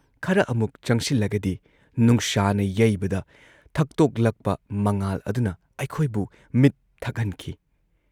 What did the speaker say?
ꯈꯔ ꯑꯃꯨꯛ ꯆꯪꯁꯤꯜꯂꯒꯗꯤ ꯅꯨꯡꯁꯥꯅ ꯌꯩꯕꯗ ꯊꯛꯇꯣꯛꯂꯛꯄ ꯃꯉꯥꯜ ꯑꯗꯨꯅ ꯑꯩꯈꯣꯏꯕꯨ ꯃꯤꯠ ꯊꯛꯍꯟꯈꯤ ꯫